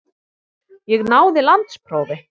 Ég náði landsprófi.